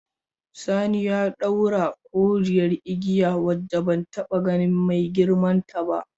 Sani ya daura wata koriyar igiya wacce ban taba ganin mai girman ta ba.